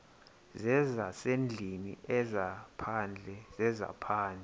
zezasendlwini ezaphandle zezaphandle